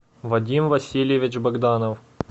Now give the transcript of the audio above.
вадим васильевич богданов